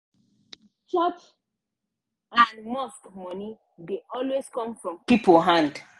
church and mosque money dey always come from people hand.